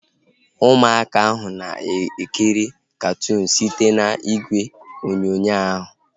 Ụmụaka ahu na-ekiri katụụnu site n'igwe onyonyo ahu